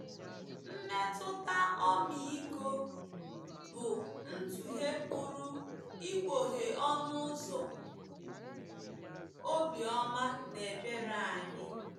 Mmetụta ọmịiko bụ ntụghe pụrụ ịkpọghe ọnụ ụzọ obiọma na ebere anyị.